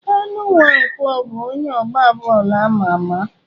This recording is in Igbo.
Kanu Nwankwo bụ onye ọgba bọọlụ ama ama.